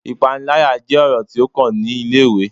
Ipanilaya jẹ ọrọ ti o kan ni ile-iwe